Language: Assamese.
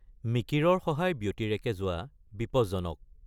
মিকিৰৰ সহায় ব্যাতিৰেকে যোৱা বিপজ্জনক।